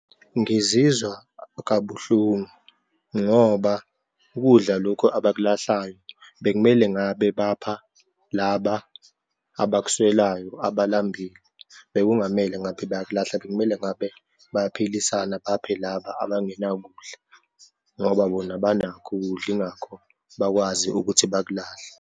Ngizizwa kabuhlungu ngoba ukudla lokhu abakulahlayo bekumele ngabe bapha laba abakuswelayo, abalambile. Bekungamele ngaphe bayakulahla, bekumele ngabe bayaphilisana baphe laba abangenakudla, ngoba bona banakho ukudla, yingakho bakwazi ukuthi bakulahle.